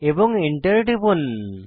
এবং এন্টার টিপুন